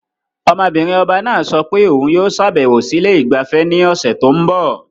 Ọmọ-binrin ọba náà sọ pé òun yóò ṣàbẹ̀wò sí ilé ìgbafẹ́ ní ọ̀sẹ̀ tó ń bọ̀.